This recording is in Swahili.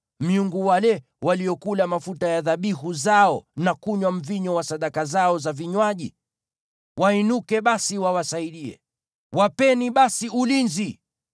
miungu wale waliokula mafuta ya dhabihu zao na kunywa mvinyo wa sadaka zao za vinywaji? Wainuke basi, wawasaidie! Wawapeni basi ulinzi!